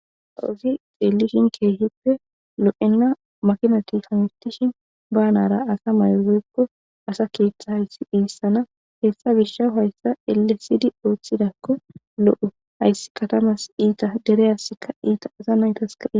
Aawuzi xeellishin keehippe lo7enna makinati hamitishin banara asa maygoykko asa kiethta hayssi dhiissana hessa gisha hayssa elesidi ooththidakko lo7o hayssi katamas iita dereyassikka iita asa naytas ka